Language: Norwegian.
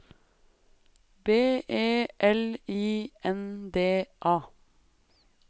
B E L I N D A